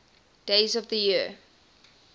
days of the year